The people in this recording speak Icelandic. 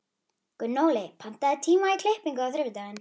Gunnóli, pantaðu tíma í klippingu á þriðjudaginn.